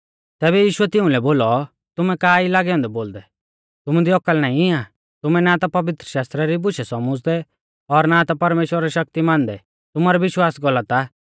तैबै यीशुऐ तिउंलै बोलौ तुमै का ई लागै औन्दै बोलदै तुमु दी औकल नाईं आ तुमै ना ता पवित्रशास्त्रा री बुशै सौमुझ़दै और ना ता परमेश्‍वरा री शक्ति मानदै तुमारौ विश्वास गलत आ